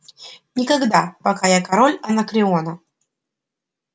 никогда пока я король анакреона